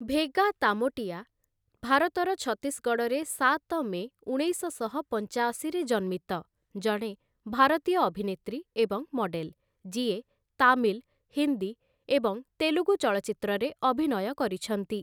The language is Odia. ଭେଗା ତାମୋଟିଆ ଭାରତର ଛତିଶଗଡ଼ରେ ସାତ ମେ ଉଣେଇଶଶହ ପଞ୍ଚାଅଶୀରେ ଜନ୍ମିତ ଜଣେ ଭାରତୀୟ ଅଭିନେତ୍ରୀ ଏବଂ ମଡେଲ, ଯିଏ ତାମିଲ, ହିନ୍ଦୀ ଏବଂ ତେଲୁଗୁ ଚଳଚ୍ଚିତ୍ରରେ ଅଭିନୟ କରିଛନ୍ତି ।